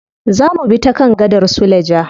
Za mubi ta kan gadar suleja.